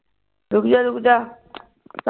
ਰੁਕ ਜਾ ਰੁਕ ਜਾ